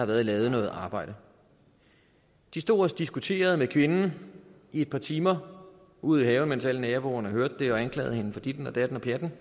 været lavet noget arbejde de stod og diskuterede med kvinden i et par timer ude i haven mens alle naboerne hørte det og anklagede hende for ditten og datten det